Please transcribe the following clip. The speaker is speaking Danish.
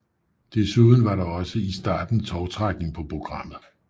Desuden var der også i starten tovtrækning på programmet